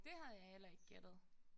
Det havde jeg heller ikke gættet